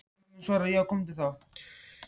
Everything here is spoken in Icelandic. þar á meðal eru sjóntruflanir